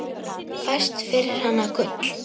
Fæst fyrir hana gull.